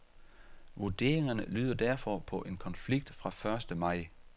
Vurderingerne lyder derfor på en konflikt fra første maj.